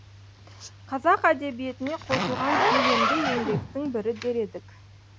қазақ әдебиетіне қосылған көлемді еңбектің бірі дер едік